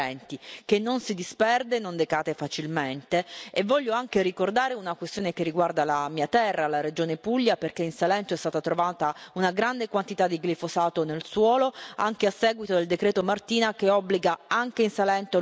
E voglio anche ricordare una questione che riguarda la mia terra, la regione Puglia perché in Salento è stata trovata una grande quantità di glifosato nel suolo, anche a seguito del decreto Martina, che obbliga anche in Salento l'uso di pesticidi, prediligendo la scelta di quelli chimici.